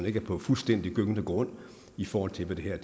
ikke er på fuldstændig gyngende grund i forhold til hvad det her